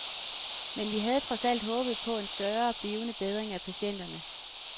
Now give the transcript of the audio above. Men vi havde trods alt håbet på en større, blivende bedring af patienterne.